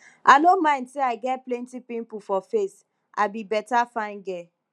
i no mind say i get plenty pimple for face i be beta fine girl